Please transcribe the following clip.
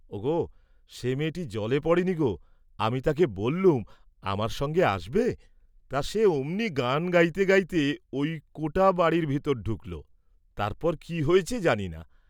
ওগো সে মেয়েটি জলে পড়েনি গো, আমি তাকে বল্লুম আমার সঙ্গে আসবে, তা সে অমনি গান গাইতে গাইতে ঐ কোটা বাড়ীর ভিতর ঢুকলো, তারপর কি হয়েছে জানিনা।